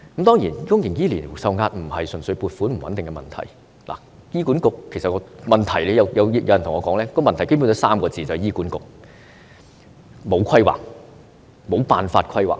當然，公營醫療受壓並非純粹撥款不穩定的問題，也與醫管局本身的問題有關，就是醫管局缺乏規劃，無辦法規劃。